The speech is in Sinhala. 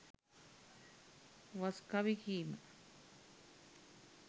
වස් කවි කීම